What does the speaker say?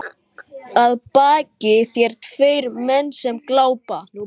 Þetta var eitt af orðunum hennar Lísu.